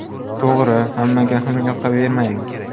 To‘g‘ri, hammaga ham yoqavermaymiz.